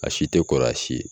A si tɛ kɔrɔ si ye.